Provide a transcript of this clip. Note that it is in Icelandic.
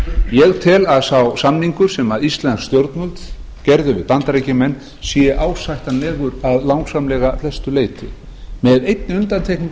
ég tel að sá samningur sem íslensk stjórnvöld gerðu við bandaríkjamenn sé ásættanlegur að langsamlega flestu leyti með einni undantekningu